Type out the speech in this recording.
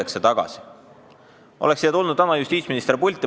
Kui täna oleks tulnud justiitsminister pulti ...